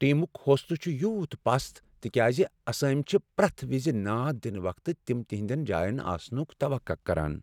ٹیمُک حوصلہٕ چُھ یوٗت پست تکیازِ اسٲمۍ چُھِ پریتھ وِزِ ناد دِنہٕ وقتہٕ تِم تہندِین جاین آسنُك توقع كران ۔